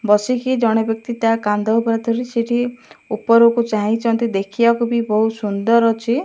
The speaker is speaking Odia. ବସିକି ଜଣେ ବ୍ୟକ୍ତି ତା କାନ୍ଦ ଉପରେ ଉପରକୁ ଚାହିଁ ଛନ୍ତି ଦେଖି ବାକୁ ବହୁତ ସୁନ୍ଦର ଅଛି।